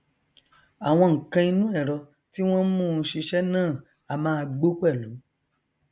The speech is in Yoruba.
àwọn nnkan inú ẹrọ tí wọn n mú u ṣiṣẹ náà a máa gbó pẹlú